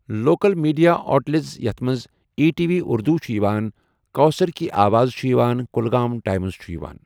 Local media اولیٹزس یتھ منٛز ای ٹی وی اُردو چھُ یِوان کوثر کی آواز چھُ یِوان کُلگام ٹایمٕز چھُ یِوان۔